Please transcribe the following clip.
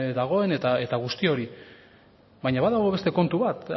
dagoen eta guzti hori baina badago beste kontu bat